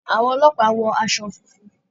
Àwọn ọlọ́pàá wọ aṣọ funfun.